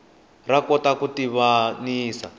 ra kota ku tivanisa